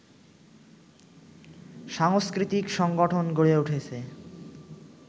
সাংস্কৃতিক সংগঠন গড়ে উঠেছে